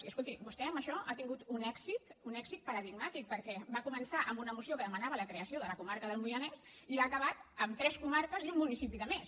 i escolti vostè amb això ha tingut un èxit paradigmàtic perquè va començar amb una moció que demanava la creació de la comarca del moianès i ha acabat amb tres comarques i un municipi de més